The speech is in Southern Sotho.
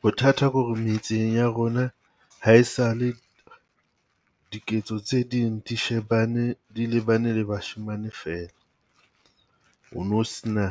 Bothata ko re metseng ya rona ha e sale diketso tse ding di shebane di lebane le bashemane feela. O no se na